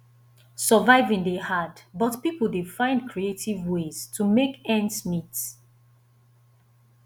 surviving dey hard but pipo dey find creative ways to make ends meet